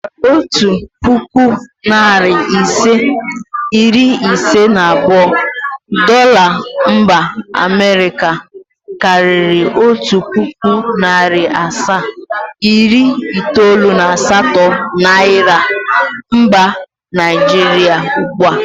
Otu pụkụ, narị ise, iri iise na abụọ Dola mba Amịrịka karịṛ otu pụkụ, narị asaa, iri itoolu na asatọ niara mba naịjrịa ugbua.